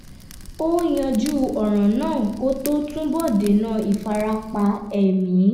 ó yanjú ọ̀ràn náà kó tó túbọ̀ dènà ìfarapa ẹ̀mí